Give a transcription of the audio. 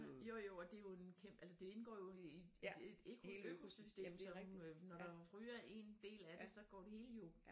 Jo jo og det jo en altså det indgår jo i et økosystem sådan nogle øh når der ryger en del af det så går det hele jo